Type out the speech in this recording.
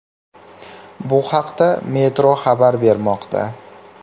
Bu haqda Metro xabar bermoqda .